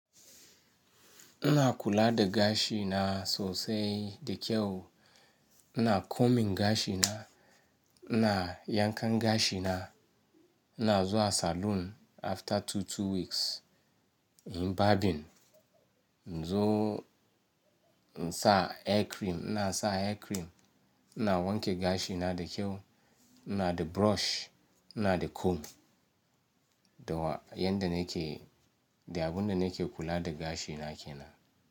Ina kula da gashi na sosai da kyau. Ina combing gashi na, ina yankan gashi na, ina zuwa salon after two-two weeks, in barbing. Zo in sa hair cream, ina sa hair cream, ina wanke gashi na da kyau, ina da brush, ina da comb. Da wa, yan da nake, da abun da nake kula da gashi na ke nan.